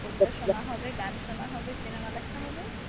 কবিতা শোনা হবে গান শোনা হবে cinema দেখা হবে ।